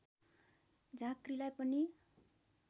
झाँक्रीलाई पनि